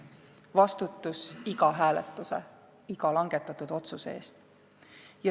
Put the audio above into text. Vastutus iga hääletuse, iga langetatud otsuse eest.